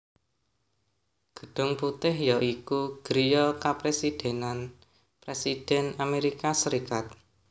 Gedhung Putih ya iku griya kepresidhènan Présidhèn Amérika Sarékat